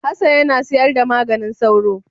Hassan yana sayar da maganin sauro.